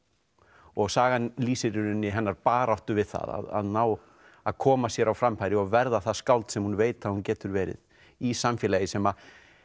og sagan lýsir í rauninni hennar baráttu við það að ná að koma sér á framfæri og verða það skáld sem hún veit að hún getur verið í samfélagi sem